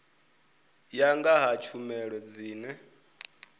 ya nga ha tshumelo dzine